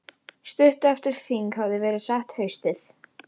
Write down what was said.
Stuttu eftir að þing hafði verið sett haustið